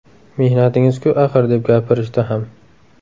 Mehnatingiz-ku axir’, deb gapirishdi ham.